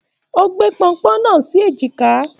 O gbé pọ́npọ́n náà sì èjìkà.